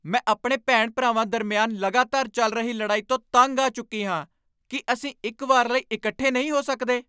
ਮੈਂ ਆਪਣੇ ਭੈਣ ਭਰਾਵਾਂ ਦਰਮਿਆਨ ਲਗਾਤਾਰ ਚੱਲ ਰਹੀ ਲੜਾਈ ਤੋਂ ਤੰਗ ਆ ਚੁੱਕੀ ਹਾਂ ਕੀ ਅਸੀਂ ਇੱਕ ਵਾਰ ਲਈ ਇਕੱਠੇ ਨਹੀਂ ਹੋ ਸਕਦੇ?